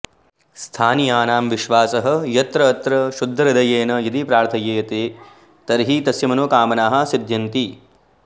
स्थानीयानां विश्वासः यत् अत्र शुद्धहृदयेन यदि प्रार्थ्यते तर्हि तस्य मनोकामनाः सिद्ध्यन्ति